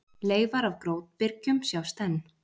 Leifar af grjótbyrgjum sjást enn.